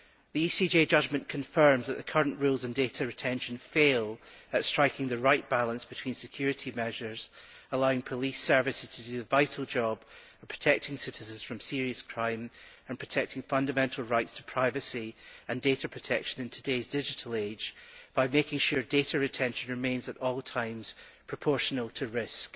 The ECJ judgment confirms that the current rules on data retention fail to strike the right balance between, on the one hand, security measures allowing police services to do the vital job of protecting citizens from serious crime and, on the other, protecting fundamental rights to privacy and data protection in today's digital age by making sure data retention remains at all times proportional to risk.